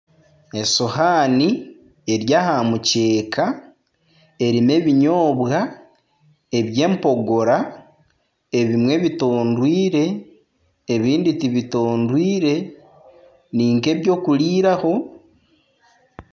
Esihaani eri aha mukyeeka eri nana ebinyoobwa ebyempogora ebimwe bitondwiire ebindi tibitondwiire ninka ebyokuriiraho